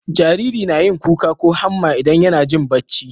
Jariri nayin kuka ko hamma idan YAna Jin bacci